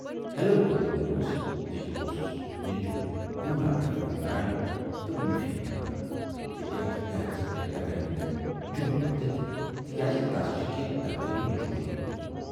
Hello کٔرِتھ ننٮ۪وس زِ یہِ اوسُس نیچوٗ پوٗناہ پٮ۪ٹھٕ فون کران تہٕ معافی منگان زِ یَتھ ہیرٕژ پٮ۪ٹھ ہٮ۪کن نہٕ تِم جوم وٲتِتھ تِکیازِ تَس چھے کینہہ دفتری مجبوٗری۔